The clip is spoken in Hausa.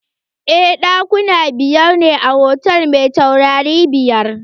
Eh, ɗakuna biyar ne a hotal mai taurari biyar.